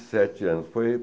sete anos. Foi